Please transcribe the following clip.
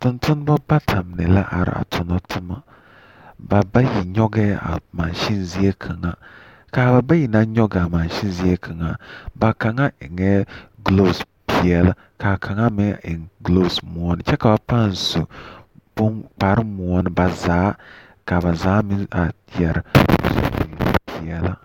Tontonema bata mine la a are tona toma. Ba bayi nyɔgɛɛ a masen zie kaŋa. A ba bayi naŋ nyɔgaa masen zie kaŋa, ba kaŋa eŋɛɛ guloose peɛle kaa kaŋa meŋ eŋ guloose moɔne . Kyɛ ka ba pãã su boŋ kparre moɔne ba zaa meŋ are...